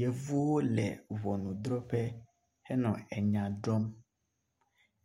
Yevuwo le ŋɔnudrɔƒe henɔ enya drɔm.